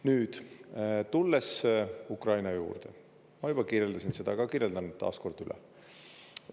Nüüd tulles Ukraina juurde, ma juba kirjeldasin seda, aga kirjeldan taas kord üle.